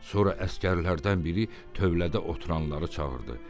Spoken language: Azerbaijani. Sonra əsgərlərdən biri tövlədə oturanları çağırdı.